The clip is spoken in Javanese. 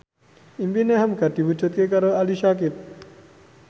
impine hamka diwujudke karo Ali Syakieb